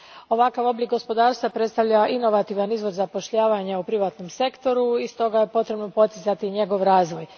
Ovakav oblik gospodarstva predstavlja inovativan izvor zapošljavanja u privatnom sektoru i stoga je potrebno poticati njegov razvoj.